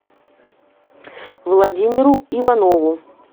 владимиру иванову